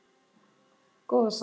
Góða sál.